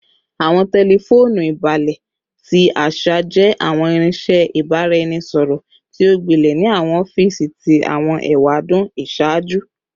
Awọn tẹlifoonu ibalẹ ti aṣa jẹ awọn irinṣẹ ibaraẹnisọrọ ti o gbilẹ ni awọn ọfiisi ti awọn ewadun iṣaaju